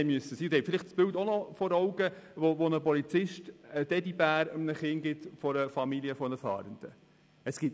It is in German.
Vielleicht haben Sie noch das Bild vor Augen, wie ein Polizist dem Kind einer Familie von Fahrenden einen Teddybär gibt.